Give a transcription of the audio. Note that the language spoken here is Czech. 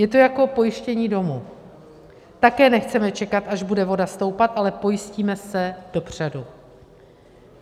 Je to jako pojištění domu, také nechceme čekat, až bude voda stoupat, ale pojistíme se dopředu.